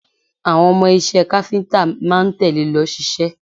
Àwọn ọmọ iṣẹ́ káfíńtà máa ń tẹ̀le lọ ṣiṣẹ́